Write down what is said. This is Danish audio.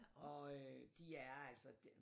Og øh de er altså